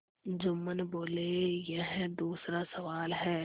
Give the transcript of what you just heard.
जुम्मन बोलेयह दूसरा सवाल है